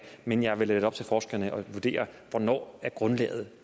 men jeg vil lade det være op til forskerne at vurdere hvornår grundlaget